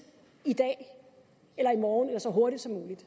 i dag eller i morgen eller så hurtigt som muligt